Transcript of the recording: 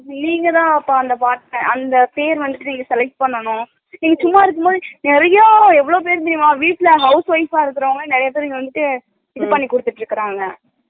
நீங்கதா அத்தா அந்த part அந்த பெற வந்துட்டு select பண்ணணு நீங்க சும்மா இருக்கும்போது நிறைய எவ்ளோபேறு தெரியுமா வீட்ல house wife அ இருக்குறவங்க நிறையபேர் வந்துட்டு இது பண்ணி குடுத்திட்டு இருக்காங்க